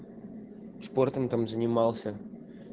спортом там занимался